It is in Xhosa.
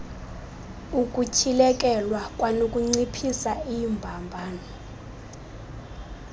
ukutyhilekelwa kwanokunciphisa iimbambano